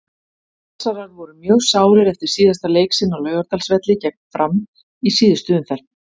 Valsarar voru mjög sárir eftir síðasta leik sinn á Laugardalsvelli gegn Fram í síðustu umferð.